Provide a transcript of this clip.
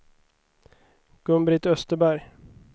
Gun-Britt Österberg